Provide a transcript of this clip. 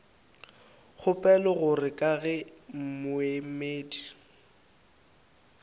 kgopela gore ka ge moemedi